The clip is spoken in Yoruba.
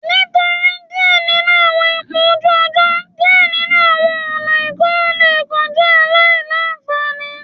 Nitori diẹ ninu awọn ipo oju ojo, diẹ ninu awọn ọna ikorun le kan jẹ aila-nfani